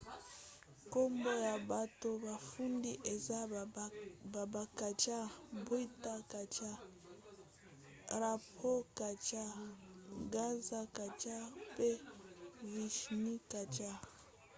nkombo ya bato bafundi eza baba kanjar bhutha kanjar rampro kanjar gaza kanjar mpe vishnu kanjar